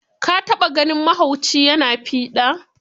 Ka taɓa ganin mahauci ya na fiɗa?